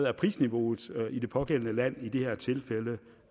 er prisniveauet i det pågældende land i det her tilfælde